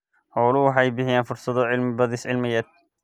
Xooluhu waxay bixiyaan fursado cilmi-baadhis cilmiyeed.